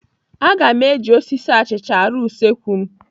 Aga m eji osisi achịcha arụ usekwu m.